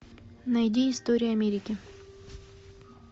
найди история америки